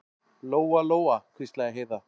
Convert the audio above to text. Lóa-Lóa, hvíslaði Heiða.